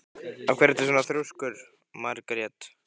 Af hverju ertu svona þrjóskur, Margrét?